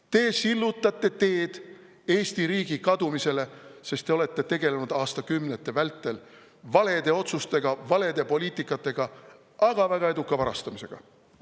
" Te sillutate teed Eesti riigi kadumisele, sest te olete tegelenud aastakümnete vältel valede otsustega, valede poliitikatega, aga väga eduka varastamisega.